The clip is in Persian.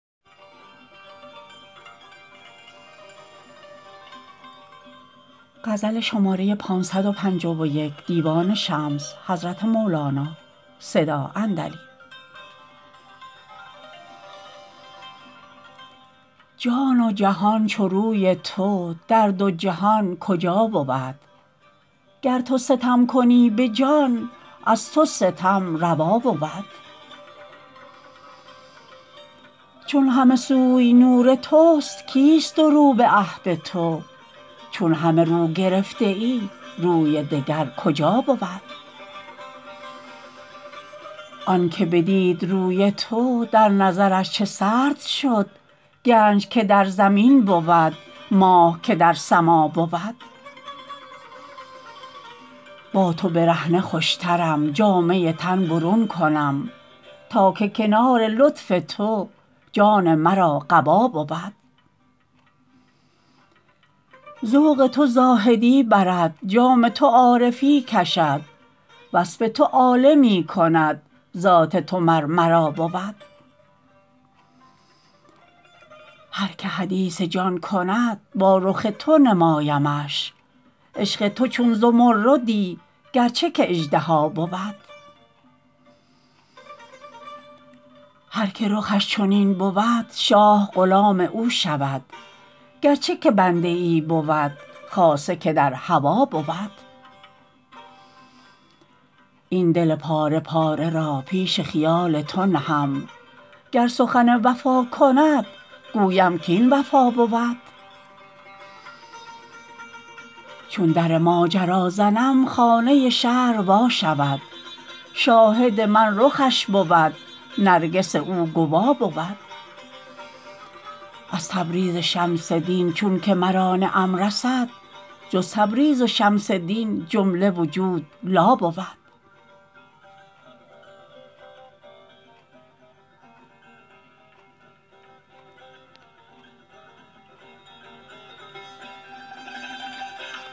جان و جهان چو روی تو در دو جهان کجا بود گر تو ستم کنی به جان از تو ستم روا بود چون همه سوی نور تست کیست دورو به عهد تو چون همه رو گرفته ای روی دگر کجا بود آنک بدید روی تو در نظرش چه سرد شد گنج که در زمین بود ماه که در سما بود با تو برهنه خوشترم جامه تن برون کنم تا که کنار لطف تو جان مرا قبا بود ذوق تو زاهدی برد جام تو عارفی کشد وصف تو عالمی کند ذات تو مر مرا بود هر که حدیث جان کند با رخ تو نمایمش عشق تو چون زمردی گرچه که اژدها بود هر که رخش چنین بود شاه غلام او شود گرچه که بنده ای بود خاصه که در هوا بود این دل پاره پاره را پیش خیال تو نهم گر سخن وفا کند گویم کاین وفا بود چون در ماجرا زنم خانه شرع وا شود شاهد من رخش بود نرگس او گوا بود از تبریز شمس دین چونک مرا نعم رسد جز تبریز و شمس دین جمله وجود لا بود